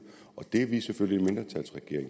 og vi vil selvfølgelig